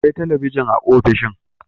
Akwai talabijin a ofishin